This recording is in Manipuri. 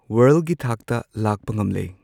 ꯋꯔꯜꯒꯤ ꯊꯥꯛꯇ ꯂꯥꯛꯄ ꯉꯝꯂꯦ꯫